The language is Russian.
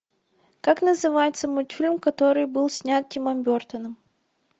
как называется мультфильм который был снят тимом бертоном